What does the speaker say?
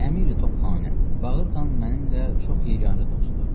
Əmiri-Topxanə: “Baqır Xan mənimlə çox yeganə dostdur.